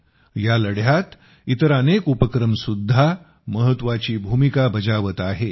या लढ्यात इतर अनेक उपक्रमसुद्धा महत्वाची भूमिका बजावत आहे